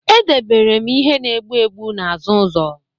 Edebere m ihe na-egbu egbu n'azụ ụzọ